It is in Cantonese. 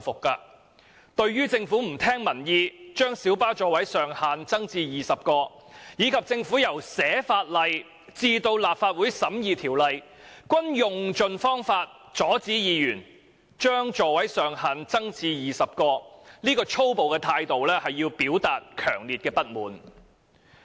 大家對於政府不聽民意將小巴座位上限增至20個，而且由撰寫《條例草案》至立法會審議《條例草案》期間，一直用盡方法阻止議員將座位上限增至20個的粗暴態度，均表達強烈不滿。